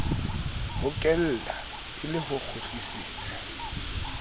hokelwa e le ho kgutlisetsa